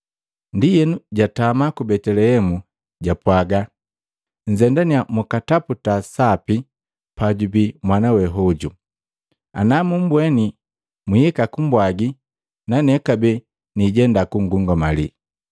Ndienu jaatuma ku Betelehemu, japwaaga, “Nzendannya mukataputa sapi pajubii mwana hoju. Anamubweni mwihika kumbwagi na nane kabee niijenda kungungamali.”